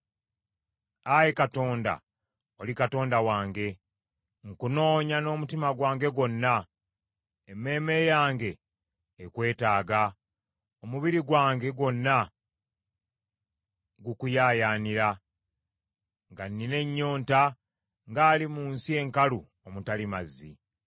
Ayi Katonda, oli Katonda wange, nkunoonya n’omutima gwange gwonna; emmeeme yange ekwetaaga, omubiri gwange gwonna gukuyaayaanira, nga nnina ennyonta ng’ali mu nsi enkalu omutali mazzi.